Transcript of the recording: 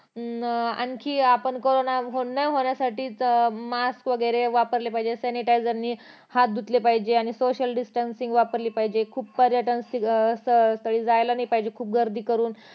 अं आणखी आपण कारोंना बंद होण्यासाठी मास वगैरे वापरले पाहिजे sanitizer ने हात धुतले पाहिजे आणि social distncing वापरली पाहिजे आणि खूप पर्यटन अं स्थळी अं जायला नाही पाहिजे खूप गर्दी करून